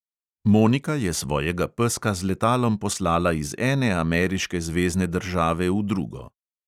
Monika je svojega peska z letalom poslala iz ene ameriške zvezne države v drugo.